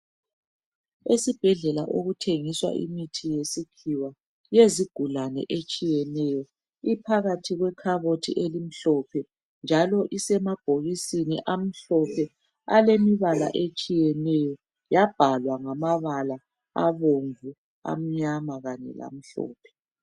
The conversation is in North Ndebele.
Esibhedlela okuthengiswa imithi yesikhiwa yezigulani etshiyenayo. Iphakathi kwekhabothi emhlophe njalo isemabhokisini amhlophe alemibala etshiyeneyo. Yababhalwa ngamabala abomvu, amnyama kanye lamhlophe.